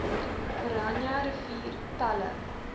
oranje rivier pella